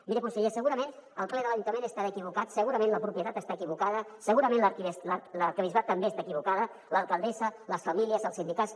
miri conseller segurament el ple de l’ajuntament deu estar equivocat segurament la propietat està equivocada segurament l’arquebisbat també està equivocat l’alcaldessa les famílies els sindicats